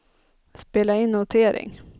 spela in notering